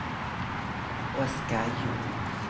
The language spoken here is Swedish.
Oscar Ljung